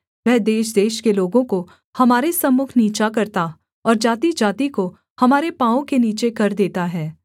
वह देशदेश के लोगों को हमारे सम्मुख नीचा करता और जातिजाति को हमारे पाँवों के नीचे कर देता है